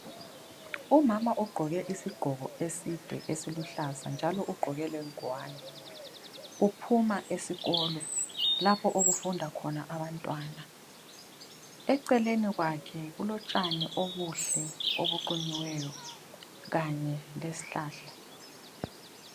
Umama ugqoke isigqoko eside esiluhlaza, njalo ugqoke lengwane ,uphuma esikolo lapho okufunda khona Abantwana, eceleni kwakhe kulotshani obuhle obuqunyiweyo kanye lezihlahla